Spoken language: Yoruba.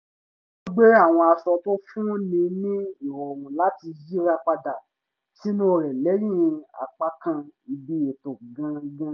wọ́n gbé àwọn aṣọ tó fún ni ní ìrọ̀rùn láti yìra padà sìnú rẹ̀ lẹ́yìn apákan ibi ètò gangan